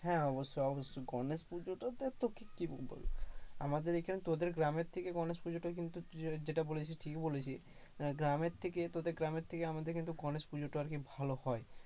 হ্যাঁ, অবশ্যই, অবশ্যই গণেশ পুজোটা তো তোকে আর কি বলবো, আমাদের এখানে তোদের গ্রামের থেকে গণেশ পুজোটা কিন্তু যেটা বলেছিস, ঠিকই বলেছিস গ্রামের থেকে তোদের গ্রামের থেকে আমাদের কিন্তু গণেশ পুজোটা আরকি ভালো হয়।